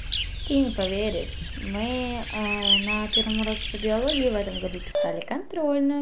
ты не поверишь мы на первом уроке по биологии в этом году писали контрольную